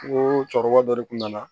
N ko cɛkɔrɔba dɔ de kun nana